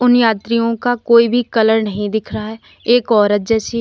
इन यात्रियों का कोई भी कलर नहीं दिख रहा है एक औरत जैसी है।